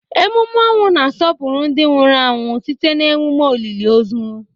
Emume ọnwụ na-asọpụrụ ndị nwụrụ anwụ site na emume olili ozu.